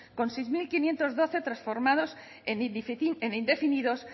con seis mil quinientos doce transformados en indefinidos